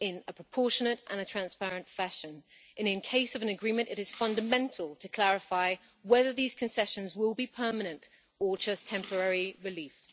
in a proportionate and transparent fashion. In case of an agreement, it is fundamental to clarify whether these concessions will be permanent or just temporary relief.